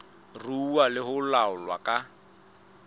ruuwa le ho laolwa ka